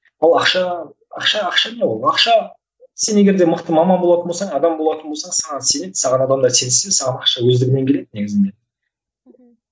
ал ақша ақша ақша не ол ақша сен егерде мықты маман болатын болсаң адам болатын болсаң саған сенеді саған адамдар сенсе саған ақша өздігінен келеді негізінде мхм